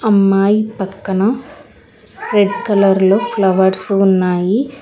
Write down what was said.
అమ్మాయి పక్కన red colour లో ఫ్లవర్స్ ఉన్నాయి.